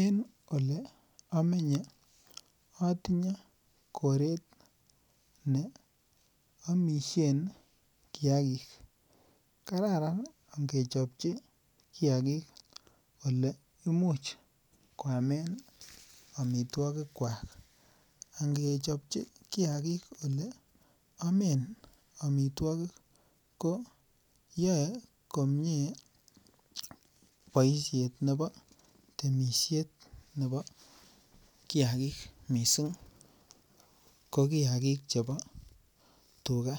En olemenye atinye koreet neamishen kiagik. Kararan angechobchi kiagik oleimuch koamen amituagik kuak . Angechobchi kiakig oleamen amituokik ih koyae komie boisiet nebo temisiet nebo kiagik missing ko kiagik chebo tuga